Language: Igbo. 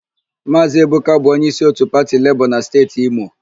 Maazị Eboka bụ onyeísí òtù pati Lebọọ na Steeti Imo.